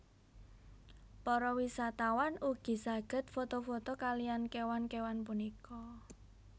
Para wisatawan ugi saged foto foto kaliyan kéwan kéwan punika